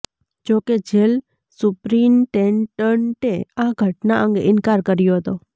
જોકે જેલ સુપરિન્ટેન્ડન્ટે આ ઘટના અંગે ઇનકાર કર્યો હતો